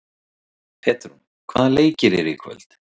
Petrún, hvaða leikir eru í kvöld?